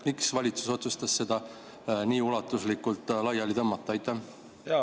Miks valitsus otsustas seda nii ulatuslikult laiali tõmmata?